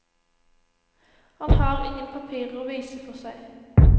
Han har ingen papirer å vise for seg.